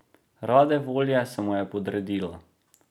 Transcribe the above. Rade volje se mu je podredila.